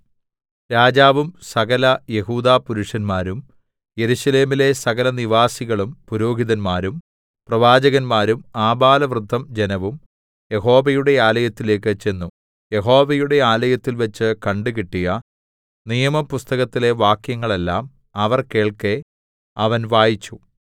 രാജാവും സകലയെഹൂദാ പുരുഷന്മാരും യെരൂശലേമിലെ സകലനിവാസികളും പുരോഹിതന്മാരും പ്രവാചകന്മാരും ആബാലവൃദ്ധം ജനവും യഹോവയുടെ ആലയത്തിലേക്ക് ചെന്നു യഹോവയുടെ ആലയത്തിൽവെച്ച് കണ്ടുകിട്ടിയ നിയമപുസ്തകത്തിലെ വാക്യങ്ങളെല്ലാം അവർ കേൾക്കെ അവൻ വായിച്ചു